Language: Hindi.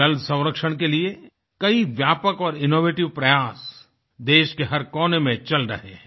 जल संरक्षणके लिए कई व्यापक और इनोवेटिव प्रयास देश के हर कोने में चल रहे हैं